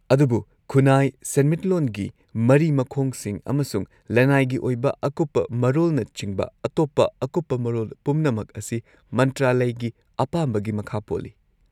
-ꯑꯗꯨꯕꯨ ꯈꯨꯟꯅꯥꯏ-ꯁꯦꯟꯃꯤꯠꯂꯣꯟꯒꯤ ꯃꯔꯤ-ꯃꯈꯣꯡꯁꯤꯡ ꯑꯃꯁꯨꯡ ꯂꯅꯥꯏꯒꯤ ꯑꯣꯏꯕ ꯑꯀꯨꯞꯄ ꯃꯔꯣꯜꯅꯆꯤꯡꯕ ꯑꯇꯣꯞꯄ ꯑꯀꯨꯞꯄ ꯃꯔꯣꯜ ꯄꯨꯝꯅꯃꯛ ꯑꯁꯤ ꯃꯟꯇ꯭ꯔꯥꯂꯢꯒꯤ ꯑꯄꯥꯝꯕꯒꯤ ꯃꯈꯥ ꯄꯣꯜꯂꯤ꯫